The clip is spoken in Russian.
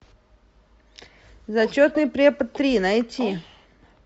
зачетный препод три найти